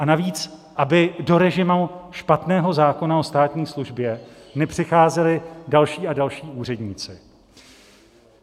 A navíc aby do režimu špatného zákona o státní službě nepřicházeli další a další úředníci.